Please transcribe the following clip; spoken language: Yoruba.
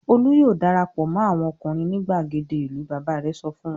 "Olú yóò dara pọ̀ mọ́ àwọn ọkùnrin ní ìgbàgede ìlú!" Bàbá rẹ̀ sọ fún wọn.